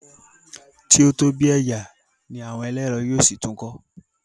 tí o tóbi ẹyà ní àwọn ẹlẹrọ yíò sí tún kọ